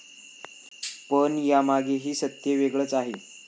पण यामागेही सत्य वेगळंच आहे.